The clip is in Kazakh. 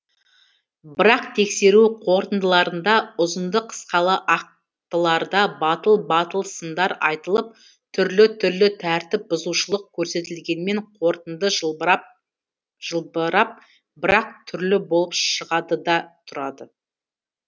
бірақ тексеру қорытындыларында ұзынды қысқалы ақтыларда батыл батыл сындар айтылып түрлі түрлі тәртіп бұзушылық көрсетілгенмен қорытынды жылбырап бірақ түрлі болып шығады да тұрады